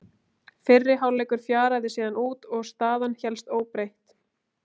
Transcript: Fyrri hálfleikur fjaraði síðan út og staðan hélst óbreytt.